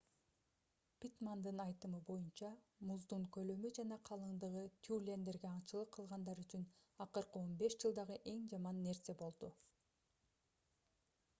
питтмандын айтымы боюнча муздун көлөмү жана калыңдыгы тюлендерге аңчылык кылгандар үчүн акыркы 15 жылдагы эң жаман нерсе болду